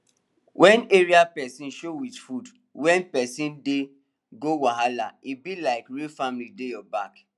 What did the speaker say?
wen area person show with food wen person dey go wahala e be like real family dey your back